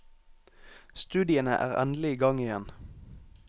Studiene er endelig i gang igjen.